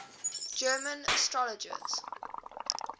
german astrologers